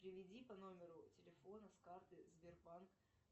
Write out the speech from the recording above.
переведи по номеру телефона с карты сбербанк